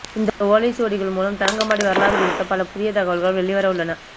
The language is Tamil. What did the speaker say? இந்த ஓலைச் சுவடிகள் மூலம் தரங்கம்பாடி வரலாறு குறித்த பல புதிய தகவல்கள் வெளிவர உள்ளன